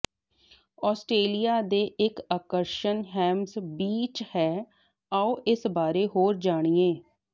Australia ਦੇ ਇੱਕ ਆਕਰਸ਼ਣ ਹੈਮਜ਼ ਬੀਚ ਹੈ ਆਓ ਇਸ ਬਾਰੇ ਹੋਰ ਜਾਣੀਏ